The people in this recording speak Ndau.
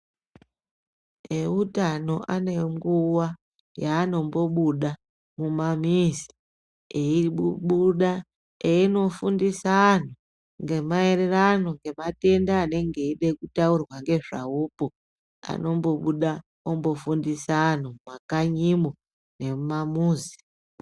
Eutano anenguwa yaanombobuda mumanesi eibuda einofundisa anhu ngemaererano ngematenda anenge eida kutaurwa ngezvawokwo anombobuda ombofundisa anhu mumakanyimo nemumamuzi.